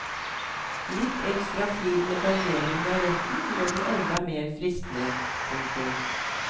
Litt ekstra flid med danderingen av retten gjør den enda mer fristende. punktum